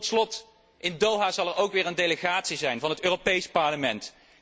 Tot slot, in Doha zal er ook een delegatie zijn van het Europees Parlement.